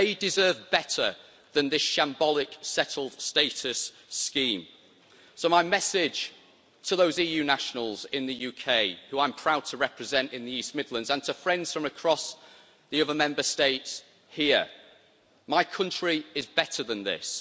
They deserve better than this shambolic settled status' scheme. So my message to those EU nationals in the UK who I'm proud to represent in the East Midlands, and to friends from across the other Member States here, is my country is better than this.